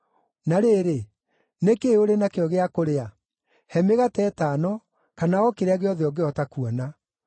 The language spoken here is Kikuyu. Na rĩrĩ, nĩ kĩĩ ũrĩ nakĩo gĩa kũrĩa? He mĩgate ĩtano, kana o kĩrĩa gĩothe ũngĩhota kuona.”